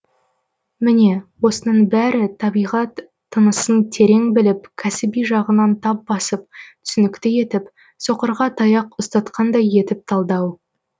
міне осының бәрі табиғат тынысын терең біліп кәсіби жағынан тап басып түсінікті етіп соқырға таяқ ұстатқандай етіп талдау